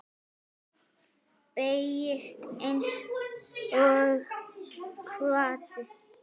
Beygist einsog hvati.